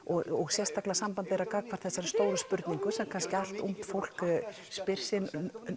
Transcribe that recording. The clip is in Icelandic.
sérstaklega samband þeirra gagnvart þessari stóru spurningu sem kannski allt ungt fólk spyr sig